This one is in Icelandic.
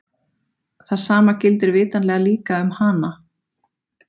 Það sama gildir vitanlega líka um hana!